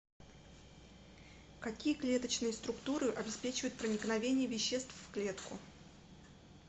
какие клеточные структуры обеспечивают проникновение веществ в клетку